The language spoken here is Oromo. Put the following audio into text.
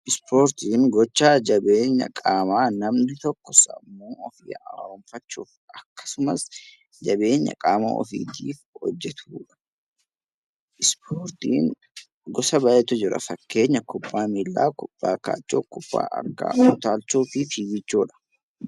Ispoortiin gochaa jabeenya qaamaa namni tokko sammuu ofii haaromfachuuf akkasumas jabeenya qaama ofiitiif hojjetudha. Ispoortiin gosa baay'eetu jira. Fakkeenyaaf kubbaa miillaa, kubbaa kaachoo, kubbaa harkaa, utaalchoo fi fiiggichoodha.